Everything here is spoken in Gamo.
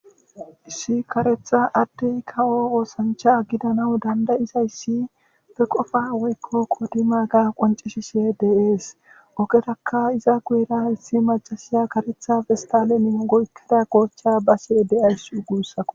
Issi karetha Adey kawo osancha gidanawu danda'izaysa be qopa woyko qodimaga qoncisishe de'es.